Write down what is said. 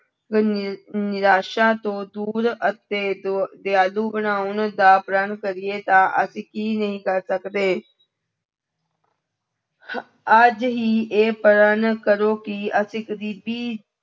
ਨਿ ਨਿਰਾਸਾ ਤੋਂ ਦੂਰ ਅਤੇ ਦ ਦਿਆਲੂ ਬਣਾਉਣ ਦਾ ਪ੍ਰਣ ਕਰੀਏ ਤਾਂ ਅਸੀਂ ਕੀ ਨਹੀਂ ਕਰ ਸਕਦੇ ਅੱਜ ਹੀ ਇਹ ਪ੍ਰਣ ਕਰੋ ਕਿ ਅਸੀਂ ਗ਼ਰੀਬੀ